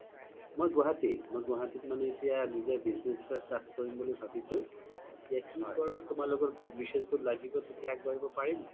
মই গুৱাহাতিত, গুৱাহাতিত মানে এতিয়া business এটা start কৰিম বুলি ভাবিচো এতিয়া কি কৰো তুমালোকৰ good wishes বোৰ লগিব তেতিয়া আগবাঢ়িব পাৰিম